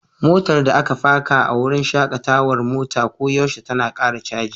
Motar da aka faka a wurin shakatawar mota koyaushe tana ƙara caji.